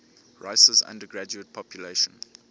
rice's undergraduate population